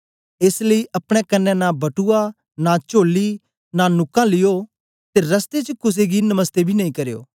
एस लेई अपने कन्ने नां बटुआ नां चोली नां नुकां लिओ ते रास्ते च कुसे गी नमस्ते बी नेई करयो